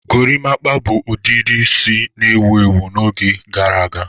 Gorimapa bụ ọdịdị isi na-ewu ewu n'oge gara aga